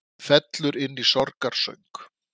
Fellur inn í sorgarsöng